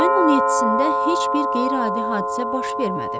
Mayın 17-də heç bir qeyri-adi hadisə baş vermədi.